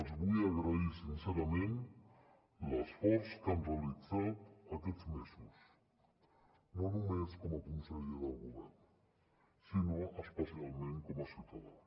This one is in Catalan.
els vull agrair sincerament l’esforç que han realitzat aquests mesos no només com a conseller del govern sinó especialment com a ciutadà